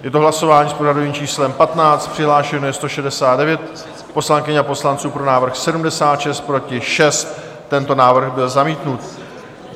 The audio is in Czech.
Je to hlasování s pořadovým číslem 15, přihlášeno je 169 poslankyň a poslanců, pro návrh 76, proti 6, tento návrh byl zamítnut.